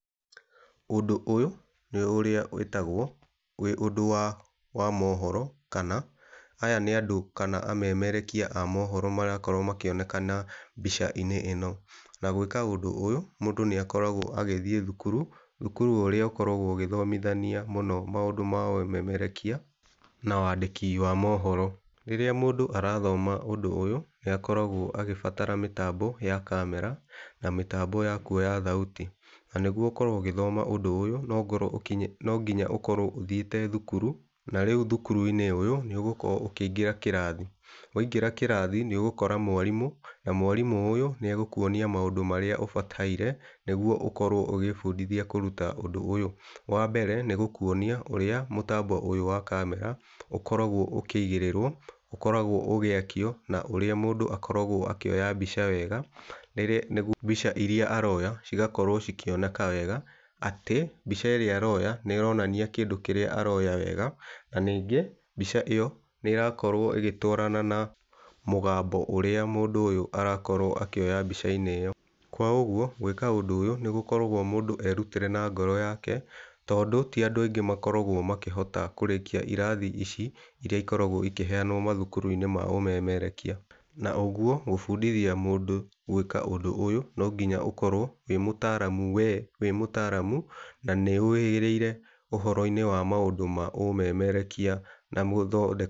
Ũndũ ũyũ, nĩ ũrĩa wĩtagwo wĩ ũndũ wa mohoro kana aya nĩ andũ kana amemerekia a mohoro marakorwo makĩonekana mbica-inĩ ĩno. Na gwĩka ũndũ ũyũ, mũndũ nĩ akoragwo agĩthĩe thukuru, thukuru ũrĩa ũkoragwo ũgĩthomithania mũno maũndũ ma ũmemerekia na wandĩki wa mohoro. Rĩrĩa mũndũ arathoma ũndũ ũyũ nĩkoragwo agĩbatara mĩtambo ya camera na mĩtambo ya kuoya thauti na nĩguo ũkorwo ũgĩthoma ũndũ ũyũ nonginya ũkorwo ũthĩĩte thukuru na rĩu thukuru-inĩ ũyũ, nĩ ugũkorwo ũkĩingĩra kĩrathi. Waingĩra kĩrathi nĩũgũkora mwarimũ na mwarimũ ũyũ nĩagũkuonia maũndũ marĩa ũbataire nĩgũo ũkorwo ũgĩbundithia kũruta ũndũ ũyũ. Wambere nĩ gũkuonia ũrĩa mũtambo ũyũ wa camera ũkoragwo ũkĩigĩrĩrwo, ũkoragwo ũgĩakio na ũrĩa mũndũ akoragwo akĩoya mbica wega nĩguo mbica iria aroya cigakorwo cĩkĩoneka wega atĩ, mbica ĩrĩa aroya nĩ ĩronania kĩndũ kĩrĩa aroya wega na ningĩ, mbica ĩyo, nĩ ĩrakorwo ĩgĩtwarana na mũgambo ũrĩa mũndũ ũyũ arakorwo akĩoya mbica-inĩ ĩyo. Kwa ũguo gwĩka ũndũ ũyũ nĩ gũkoragwo mũndũ erutĩre na ngoro yake tondũ ti andũ aingĩ makoragwo makĩhota kũrĩkia irathi ici iria ikoragwo ikĩheanwo mathukuru-inĩ ma ũmemerekia. Na ũguo gũbundithia mũndũ gwĩka ũndũ ũyũ no nginya ũkorwo wĩ mũtaaramu, we wĩ mũtaaramu na nĩ ũhĩgĩrĩire ũhoro-inĩ wa maũndũ ma ũmemerekia na gũthondeka.